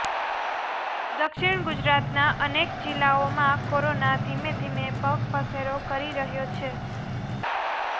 દક્ષિણ ગુજરાતના અનેક જિલ્લાઓમાં કોરોના ધીમે ધીમે પગપેસારો કરી રહ્યો છે